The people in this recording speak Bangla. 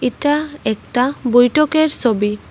এইটা একটা বৈঠকের সবি।